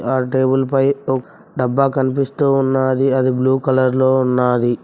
ఆ టేబుల్ పై ఒ డబ్బా కనిపిస్తు ఉన్నాది అది బ్లూ కలర్ లో ఉన్నాది.